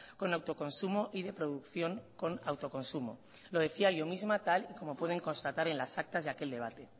con autoconsumo y de producción con autoconsumo lo decía yo misma tal y como pueden constatar en las actas de aquel debate